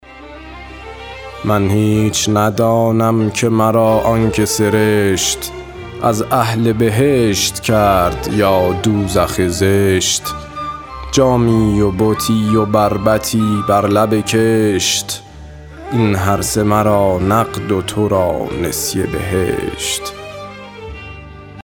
من هیچ ندانم که مرا آن که سرشت از اهل بهشت کرد یا دوزخ زشت جامی و بتی و بربطی بر لب کشت این هرسه مرا نقد و تو را نسیه بهشت